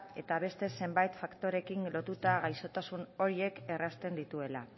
eta beste zenbait faktoreekin lotuta gaixotasun horiek errazten dituela